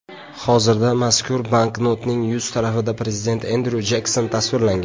Hozirda mazkur banknotning yuz tarafida prezident Endryu Jekson tasvirlangan.